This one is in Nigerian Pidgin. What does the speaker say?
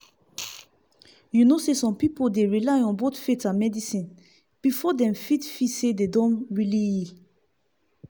you know some people dey rely on on both faith and medicine before dem fit feel say dem don really heal.